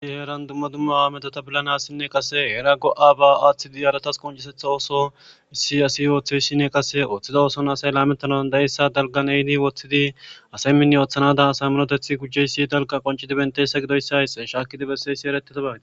ii heeran dumma dumma a medota bilanassinne qase era go7a ba aaththi diyaratas qoncisetha ooso issi asi ooththe ssinne qase ooththida ooson asay lametanan dayessa dalgan ehdi woththidi asay minne ooththanada asay minotethi gujjeyssi dalka qoncidi benteyssa gidoyssays shaakidi besse issi erettita badi